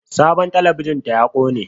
Sabon talabijin ta ya ƙone